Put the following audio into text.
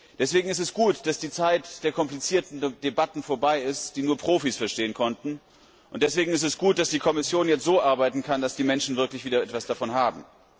Deswegen ist es gut, dass die Zeit der komplizierten Debatten, die nur Profis verstehen konnten, vorbei ist, und deswegen ist es gut, dass die Kommission jetzt so arbeiten kann, dass die Menschen wirklich wieder etwas davon haben.